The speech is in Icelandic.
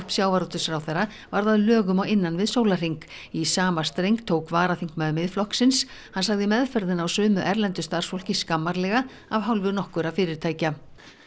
sjávarútvegsráðherra varð að lögum á innan við sólarhring í sama streng tók varaþingmaður Miðflokksins hann sagði meðferðina á sumu erlendu starfsfólki skammarlega af hálfu nokkurra fyrirtækja